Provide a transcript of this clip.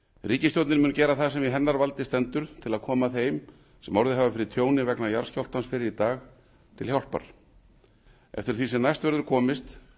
ríkisstjórnin mun gera það sem í hennar valdi stendur til að koma þeim sem orðið hafa fyrir tjóni vegna jarðskjálftans fyrr í dag til hjálpar eftir því sem næst verður komist